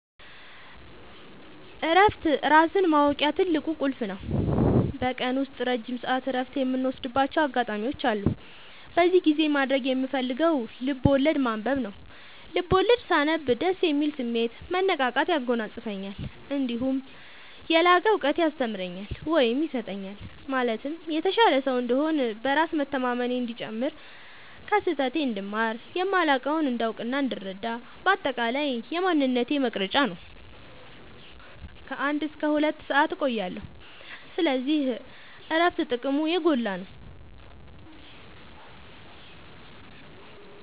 እረፍት ራስን ማወቂያ ትልቁ ቁልፍ ነው። በቀን ውስጥ ረጅም ሰዓት እረፍት የምወስድባቸው አጋጣዎች አሉ። በዚህ ጊዜ ማድረግ የምፈልገው ልብዐወለድ ማንበብ ነው፤ ልቦለድ ሳነብ ደስ የሚል ስሜት፣ መነቃቃት ያጎናፅፈኛል። እነዲሁም የላቀ እውቀት ያስተምረኛል ወይም ይሰጠኛል ማለትም የተሻለ ሰው እንድሆን፣ በራስ መተማመኔ እንዲጨምር፣ ከስህተቴ እንድማር፣ የማላውቀውን እንዳውቅናእንድረዳ በአጠቃላይ የማንነቴ መቅረጽያ ነው። ከ አንድ እስከ ሁለት ሰአት እቆያለሁ። ስለዚህ እረፍት ጥቅሙ የጎላ ነው።